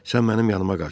Sən mənim yanıma qaç.